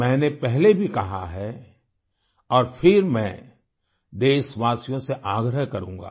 मैंने पहले भी कहा है और फिर मैं देशवासियों से आग्रह करूंगा